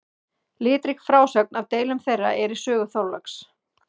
Litrík frásögn af deilum þeirra er í sögu Þorláks.